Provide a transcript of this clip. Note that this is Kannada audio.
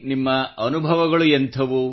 ನಿಮ್ಮ ಅನುಭವಗಳು ಎಂಥವು